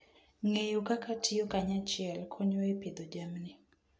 Ng'eyo kaka tiyo kanyachiel konyo e pidho jamni.